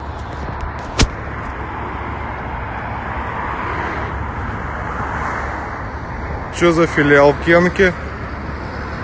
что за филиал кенки